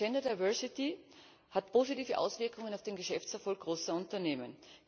Gender Diversity hat positive Auswirkungen auf den Geschäftserfolg großer Unternehmen.